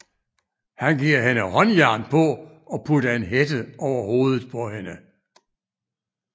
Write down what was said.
Han giver hende håndjern på og putter en hætte over hovedet på hende